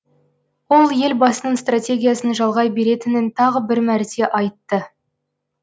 ол елбасының стратегиясын жалғай беретінін тағы бір мәрте айтты